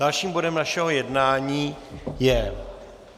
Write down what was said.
Dalším bodem našeho jednání je